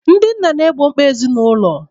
Ndị nna na-egbo mkpa ezinụlọ.